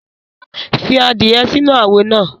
Fi adie sinu awo naa